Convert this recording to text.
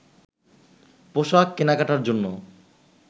পোশাক কেনাকাটার জন্য